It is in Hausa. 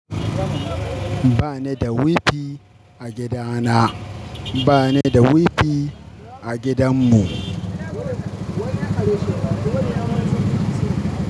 Ba ni da wifi a gidana. Ba ni da wifi a gidan mu.